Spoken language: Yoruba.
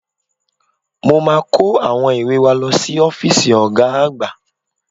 Mo máa kó àwọn ìwé wa lọ sí ọ́fíìsì Ọ̀ga àgbà